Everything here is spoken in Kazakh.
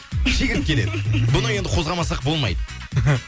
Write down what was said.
шегіртке деді бұны енді қозғамасақ болмайды